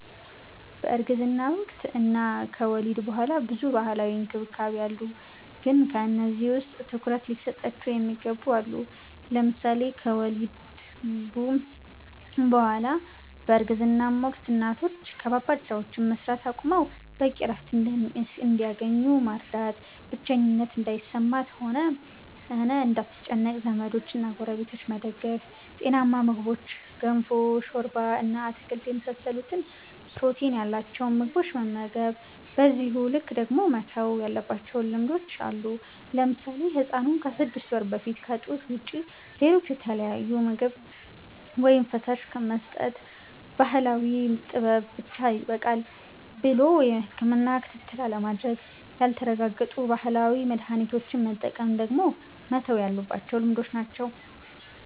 በእርግዝና ወቅት እና ከወሊድ ቡኃላ ብዙ ባህላዊ እንክብካቤ አሉ ግን ከነዚህ ውስጥ ትኩረት ሊሰጣቸው የሚገቡ አሉ። ለምሳሌ ከወሊድ ቡ በኃላም በእርግዝናም ወቅት እናቶች ከባባድ ስራዎችን መስራት አቁመው በቂ እረፍት እንዲያገኙ መርዳት፣ ብቸኝነት እንዳይሰማት ሆነ እንዳትጨነቅ ዘመዶችና ጎረቤቶች መደገፍ፣ ጤናማ ምግቦችን ገንፎ፣ ሾርባ እና አትክልት የመሳሰሉትን ፕሮቲን ያላቸውን ምግቦች መመገብ። በዚሁ ልክ ደግሞ መተው ያለባቸው ልማዶች አሉ። ለምሳሌ ህፃኑን ከስድስት ወር በፊት ከጡት ውጭ ሌሎች የተለያዩ ምግብ ወይም ፈሳሽ መስጠት፣ ባህላዊ ጥበብ ብቻ ይበቃል ብሎ የህክምና ክትትል አለማድረግ፣ ያልተረጋገጡ ባህላዊ መድሀኒቶችን መጠቀም ደግሞ መተው ያለባቸው ልማዶች ናቸው።